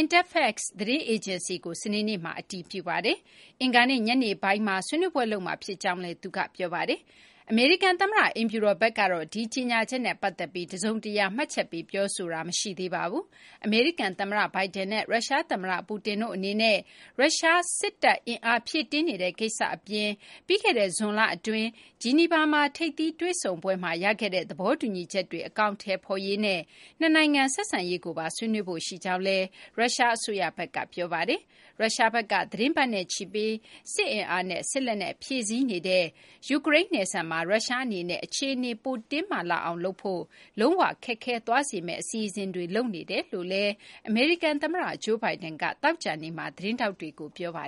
Interfax သတင်းအေဂျင်စီကို စနေနေ့မှာ အတည်ပြုပါတယ်။ အင်္ဂါနေ့ ညနေပိုင်းမှာ ဆွေးနွေးပွဲလုပ်မှာ ဖြစ်ကြောင်းလည်း သူက ပြောပါတယ်။ အမေရိကန်သမ္မတ အိမ်ဖြူတော်ဘက်ကတော့ ဒီကြေညာချက်နဲ့ ပတ်သက်ပြီး တစုံတရာ မှတ်ချက်ပေး ပြောဆိုတာ မရှိသေးပါဘူး။ အမေရိကန်သမ္မတ Biden နဲ့ ရုရှားသမ္မတ Putin တို့အနေနဲ့ ရုရှား စစ်တပ်အင်အား ဖြည့်တင်းနေတဲ့ ကိစ္စအပြင် ပြီးခဲ့တဲ့ ဇွန်လအတွင်း ဂျီနီဗာ ထိပ်သီးတွေ့ဆုံပွဲမှာ ရခဲ့တဲ့ သဘောတူညီချက်တွေ အကောင်အထည်ဖော်ရေးနဲ့ နှစ်နိုင်ငံဆက်ဆံရေးကိုပါ ဆွေးနွေးဖို့ရှိကြောင်းလည်း ရုရှားအစိုးရဘက်က ပြောဆိုထားပါတယ်။ ရုရှားဘက်က သီတင်းပတ်နဲ့ချီပြီး စစ်အင်အားနဲ့ စစ်လက်နက် ဖြည့်ဆည်းနေတဲ့ ယူကရိန်းနဲ့ နယ်စပ်မှာ ရုရှားအနေနဲ့ အခြေအနေ ပိုတင်းမာလာအောင်လုပ်ဖို့ လုံးဝခက်ခဲသွားစေမယ့် အစီအစဉ်တွေ လုပ်နေကြောင်း အမေရိကန်သမ္မတ Joe Biden က သောကြာနေ့မှာ သတင်းထောက်တွေကို ပြောပါ